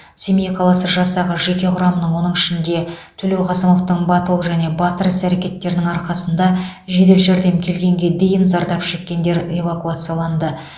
семей қаласы жасағы жеке құрамының оның ішінде төлеуқасымовтың батыл және батыр іс әрекеттерінің арқасында жедел жәрдем келгенге дейін зардап шеккендер эвакуацияланды